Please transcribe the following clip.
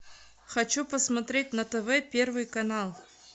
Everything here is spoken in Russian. хочу посмотреть на тв первый канал